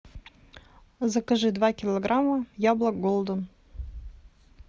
закажи два килограмма яблок голден